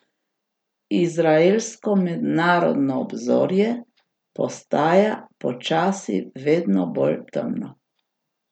Izraelsko mednarodno obzorje postaja počasi vedno bolj temno.